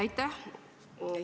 Aitäh!